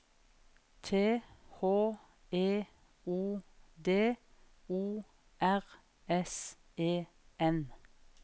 T H E O D O R S E N